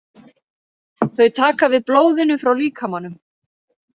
Þau taka við blóðinu frá líkamanum.